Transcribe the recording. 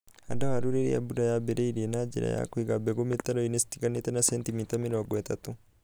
Handa waru rĩrĩa mbura yaambĩrĩria na njĩra ya kũiga mbegu mĩtaro-inĩ citiganĩte na centimita mĩrongo ĩtatu.